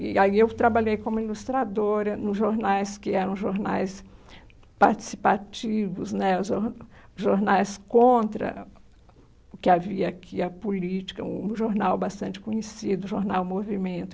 E aí eu trabalhei como ilustradora nos jornais que eram jornais participativos né, os jor jornais contra o que havia aqui, a política, um jornal bastante conhecido, o jornal Movimento.